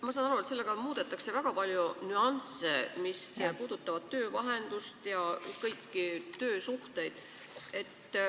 Ma saan aru, et selle seadusega muudetakse väga palju nüansse, mis puudutavad töövahendust ja kõiki töösuhteid.